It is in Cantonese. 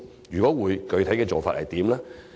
若會，具體做法如何？